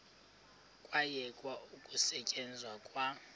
kwayekwa ukusetyenzwa kwa